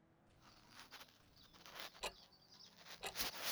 Cudurku wuxuu dhacaa marka unugyadan ay si tartiib tartiib ah u bilaabaan inay dhintaan.